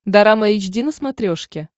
дорама эйч ди на смотрешке